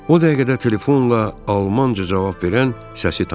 O dəqiqə telefonla Almanca cavab verən səsi tanıdım.